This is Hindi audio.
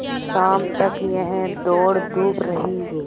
शाम तक यह दौड़धूप रही